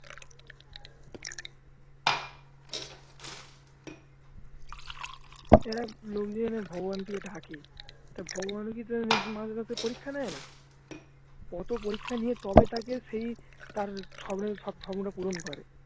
লোক যে এই যে ভগবান কে যে ডাকে তা ভগবান ও কি মাঝে মাঝে পরীক্ষা নেয় না কত পরীক্ষা নিয়ে তবে তাকে সেই তার স্বপ্নটা পূরণ করে